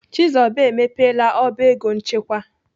Chizoba emepela ọba ego nchekwa.